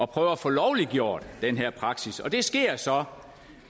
prøve at få lovliggjort den her praksis det sker så